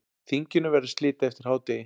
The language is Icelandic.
Þinginu verður slitið eftir hádegi.